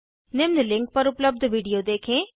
निम्न लिंक पर उपलब्ध विडिओ देखें